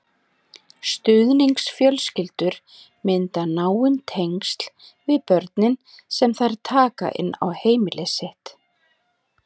Stuðningsfjölskyldur mynda náin tengsl við börnin sem þær taka inn á heimili sitt.